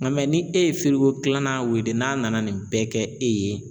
Nga mɛ ni e ye firiko kilanan wele n'a nana nin bɛɛ kɛ e ye